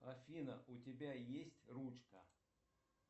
афина у тебя есть ручка